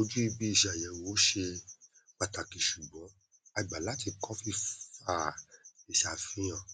ojú ibi ìṣàyẹwò ò ṣe pàtàkì ṣùgbọn a gbà láti kọ fífa ìṣàfihàn